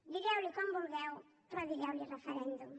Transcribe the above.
digueu li com vulgueu però digueu li referèndum